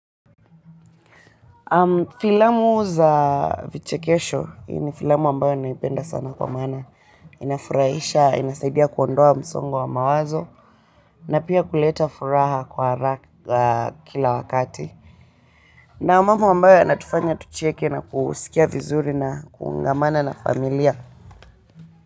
Filamu za vichekesho, hii ni filamu ambayo naipenda sana kwa maana, inafurahisha, inasaidia kuondoa msongo wa mawazo, na pia kuleta furaha kwa haraka kila wakati. Na mambo ambayo yanatufanya tucheke na kusikia vizuri na kuungamana na familia.